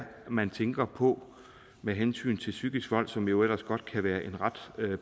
man tænker på med hensyn til psykisk vold som jo ellers godt kan være en ret